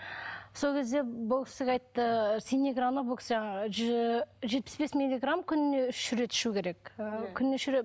сол кезде бұл кісіге айтты синеграны бұл кісі жетпіс бес миллиграмм күніне үш рет ішуі керек ы күніне үш